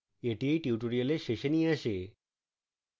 এটি এই tutorial শেষে নিয়ে আসে